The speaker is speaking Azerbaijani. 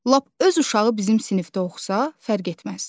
Lap öz uşağı bizim sinifdə oxusa, fərq etməz.